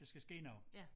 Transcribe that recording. Der skal ske noget